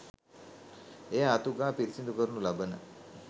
එය අතු ගා පිරිසිදු කරනු ලබන